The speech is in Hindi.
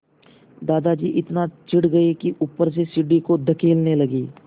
दादाजी इतना चिढ़ गए कि ऊपर से सीढ़ी को धकेलने लगे